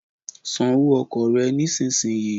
San owó ọkọ̀ rẹ nísinsìnyí